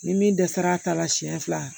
Ni min dɛsɛra a ta la siyɛn fila